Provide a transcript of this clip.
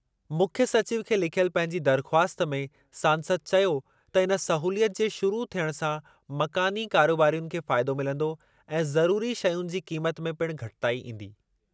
मुख्यु सचिव खे लिखियल पंहिंजी दरख़्वास्त में सांसद चयो त इन सहूलियत जे शुरु थियण सां मकानी कारोबारियुनि खे फ़ाइदो मिलंदो ऐं ज़रुरी शयुनि जी क़ीमत में पिण घटिताई ईंदी।